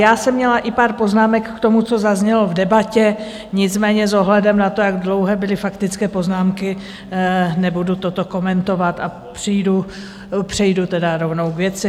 Já jsem měla i pár poznámek k tomu, co zaznělo v debatě, nicméně s ohledem na to, jak dlouhé byly faktické poznámky, nebudu toto komentovat a přejdu tedy rovnou k věci.